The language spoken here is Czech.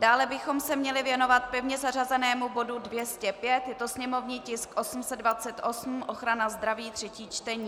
Dále bychom se měli věnovat pevně zařazenému bodu 205, je to sněmovní tisk 828, ochrana zdraví, třetí čtení.